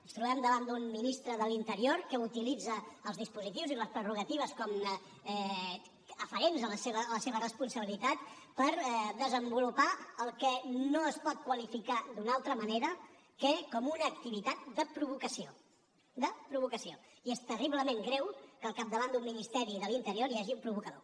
ens trobem davant d’un ministre de l’interior que utilitza els dispositius i les prerrogatives aferents a la seva responsabilitat per desenvolupar el que no es pot qualificar d’una altra manera que com una activitat de provocació de provocació i és terriblement greu que al capdavant d’un ministeri de l’interior hi hagi un provocador